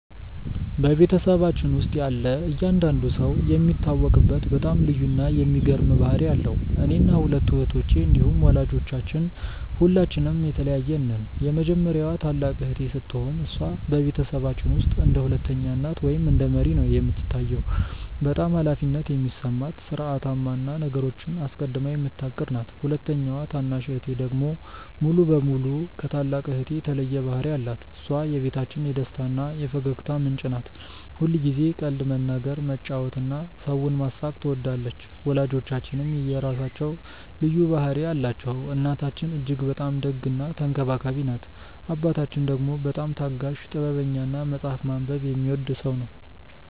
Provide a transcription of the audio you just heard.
በቤተሰባችን ውስጥ ያለ እያንዳንዱ ሰው የሚታወቅበት በጣም ልዩ እና የሚገርም ባህሪ አለው። እኔና ሁለቱ እህቶቼ እንዲሁም ወላጆቻችን ሁላችንም የተለያየን ነን። የመጀመሪያዋ ታላቅ እህቴ ስትሆን፣ እሷ በቤተሰባችን ውስጥ እንደ ሁለተኛ እናት ወይም እንደ መሪ ነው የምትታየው። በጣም ኃላፊነት የሚሰማት፣ ሥርዓታማ እና ነገሮችን አስቀድማ የምታቅድ ናት። ሁለተኛዋ ታናሽ እህቴ ደግሞ ሙሉ በሙሉ ከታላቅ እህቴ የተለየ ባህሪ አላት። እሷ የቤታችን የደስታ እና የፈገግታ ምንጭ ናት። ሁልጊዜ ቀልድ መናገር፣ መጫወት እና ሰውን ማሳቅ ትወዳለች። ወላጆቻችንም የራሳቸው ልዩ ባህሪ አላቸው። እናታችን እጅግ በጣም ደግ እና ተንከባካቢ ናት። አባታችን ደግሞ በጣም ታጋሽ፣ ጥበበኛ እና መጽሐፍ ማንበብ የሚወድ ሰው ነው።